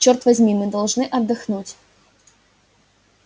черт возьми мы должны отдохнуть